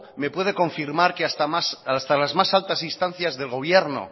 me puede confirmar que hasta las más altas instancias del gobierno